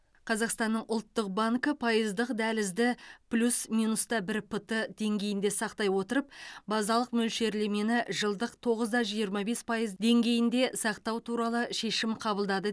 қазақстанның ұлттық банкі пайыздық дәлізді плюс минуста бір п т деңгейінде сақтай отырып базалық мөлшерлемені жылдық тоғызда жиырма бес пайыз деңгейде сақтау туралы шешім қабылдады